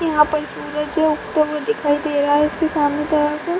यहाँ पर सूरज उगते हुए दिखाई दे रहा है इसके सामने --